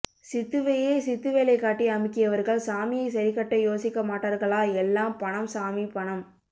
சித்துவையே சித்துவேலைக்காட்டி அமுக்கியவர்கள் சாமியைசரிக்கட்ட யோசிக்க மாட்டார்களா எல்லாம் பணம் சாமி பணம்